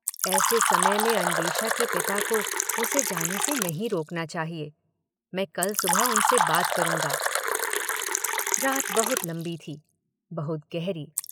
ऐसे समय में अन्वेषा के पिता को उसे जाने से नहीं रोकना चाहिए - मैं कल सुबह उनसे बात करूंगा –' रात बहुत लंबी थी, बहुत गहरी।